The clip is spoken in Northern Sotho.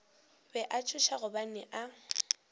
be a tšhoša gobane a